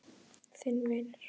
Þinn vinur.